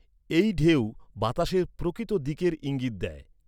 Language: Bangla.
এই ঢেউ বাতাসের প্রকৃত দিকের ইঙ্গিত দেয়।